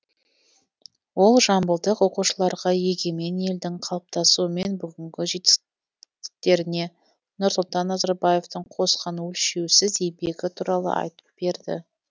ол жамбылдық оқушыларға егемен елдің қалыптасуы мен бүгінгі жетістіктеріне нұрсұлтан назарбаевтың қосқан өлшеусіз еңбегі туралы айтып берді